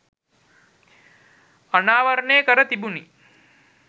අනාවරණය කර තිබුණි.